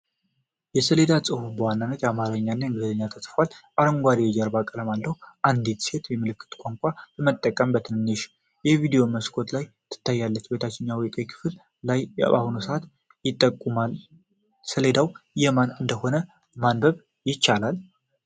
የሰሌዳ ጽሑፍ በዋናነት በአማርኛ እና በእንግሊዝኛ ተጽፏል፤ አረንጓዴ የጀርባ ቀለም አለው። አንዲት ሴት የምልክት ቋንቋ በመጠቀም በትንሽ የቪዲዮ መስኮት ላይ ትታያለች። በታችኛው ቀይ ክፍል ላይ የአሁኑ ሰዓት ይጠቁማል። ሰሌዳው የማን እንደሆነ ማንበብ ይቻላል?